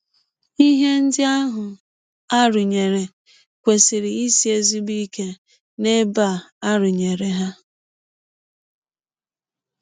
Ihe ndị ahụ a rụnyere kwesịrị isi ezigbo ike n’ebe a rụnyere ha.